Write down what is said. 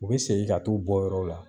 U be segin ka t'u bɔ yɔrɔw la.